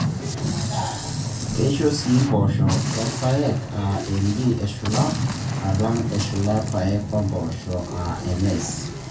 Keisho sii mpoosho orpaek aa MD eshula alang eshula rpayek oo mpoosho aa MS.